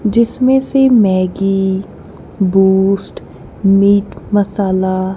जिसमें से Maggi boost meat masala --